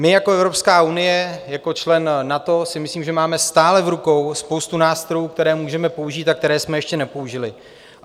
My jako Evropská unie, jako člen NATO, si myslím, že máme stále v rukou spoustu nástrojů, které můžeme použít a které jsme ještě nepoužili.